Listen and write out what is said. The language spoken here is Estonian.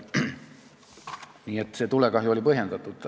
Nii et see tulekahju oli põhjendatud.